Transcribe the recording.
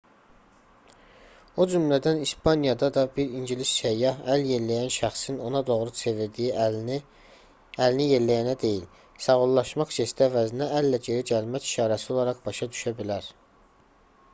o cümlədən i̇spaniyada da bir ingilis səyyah əl yelləyən şəxsin ona doğru çevirdiyi əlini əlini yelləyənə deyil sağollaşmaq jesti əvəzinə əllə geri gəlmək işarəsi olaraq başa düşə bilər